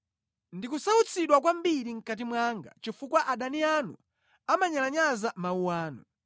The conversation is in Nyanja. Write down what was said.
Ndikusautsidwa kwambiri mʼkati mwanga chifukwa adani anu amanyalanyaza mawu anu.